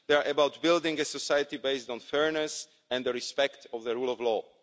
They are about building a society based on fairness and respect of the rule of law.